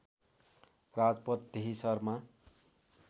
राजपथ त्यही शहरमा